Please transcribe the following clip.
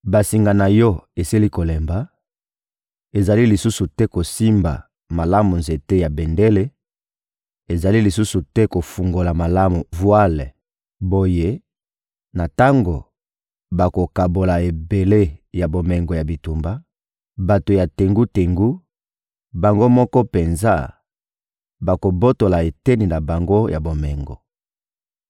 Basinga na yo esili kolemba, ezali lisusu te kosimba malamu nzete ya bendele; ezali lisusu te kofungola malamu vwale. Boye, na tango bakokabola ebele ya bomengo ya bitumba, bato ya tengu-tengu, bango moko penza, bakobotola eteni na bango ya bomengo.